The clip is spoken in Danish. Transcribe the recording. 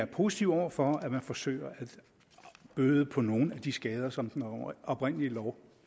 positive over for at man forsøger at bøde på nogle af de skader som den oprindelige lov